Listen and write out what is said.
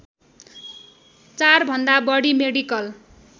४ भन्दा बढी मेडिकल